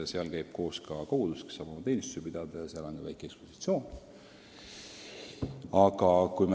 Seal käib koos ka kogudus, kes saab oma teenistusi pidada, ja seal on ka väike ekspositsioon.